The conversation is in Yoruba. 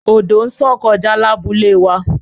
Odo nṣàn kọja labule wa